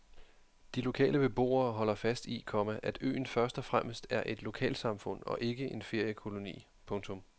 De lokale beboere holder fast i, komma at øen først og fremmest er et lokalsamfund og ikke en feriekoloni. punktum